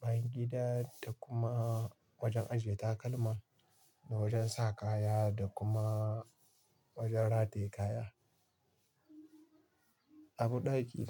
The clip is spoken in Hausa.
bayan gida da kuma wajan ajiye takalma da wajan saka kaya da kuma wajan rataye kaya. Abun ɗaki.